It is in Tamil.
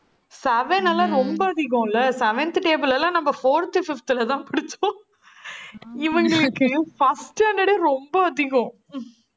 seven எல்லாம் ரொம்ப அதிகம்ல. seventh table எல்லாம், நம்ம fourth, fifth லதான் படிச்சோம் இவங்களுக்கு first standard ஏ ரொம்ப அதிகம்